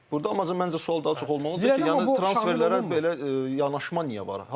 Burda isə məncə sual daha çox olmalıdır ki, yəni transferlərə belə yanaşma niyə var?